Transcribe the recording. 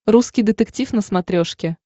русский детектив на смотрешке